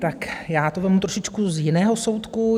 Tak já to vezmu trošičku z jiného soudku.